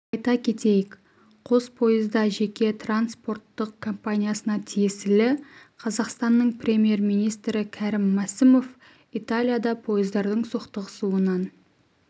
айта кетейік қос пойыз да жеке транспорттық компаниясына тиесілі қазақстанның премьер-министрі кәрім мәсімов италияда пойыздардың соқтығысуынан